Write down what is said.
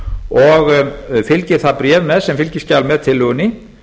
og fylgir það bréf með sem fylgiskjal með tillögunni